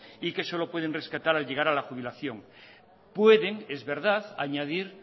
y que solo pueden rescatar al llegar a la jubilación pueden es verdad añadir